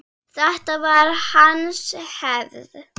Þetta var hans hefð.